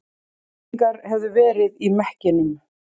Eldingar hefðu verið í mekkinum